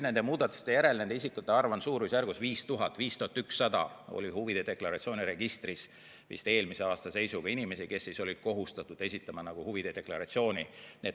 Nende muudatuste järel nende isikute arv on olnud suurusjärgus 5000, täpsemalt 5100 oli huvide deklaratsiooni registris eelmise aasta seisuga inimesi, kes olid kohustatud esitama huvide deklaratsiooni.